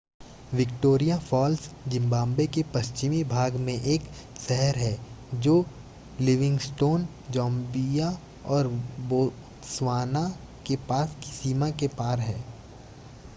Victoria Falls Zimbabwe के पश्चिमी भाग में एक शहर है जो लिविंगस्टोन ज़ाम्बिया और बोत्सवाना के पास की सीमा के पार है